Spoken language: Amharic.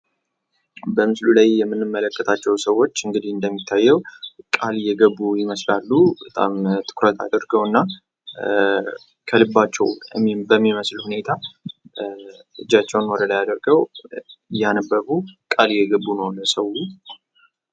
በምስሉ ላይ የምንመለከታቸው ሰዎች እንግዲህ እንደሚታየው ቃል እየገቡ ይመስላሉ በጣም ትኩረት አድርገው እና ከልባቸው በሚመስል ሁኔታ እጃቸውን ወደላይ አድርገው እያነበቡ ቃል እየግቡ ነው ለሰዉ::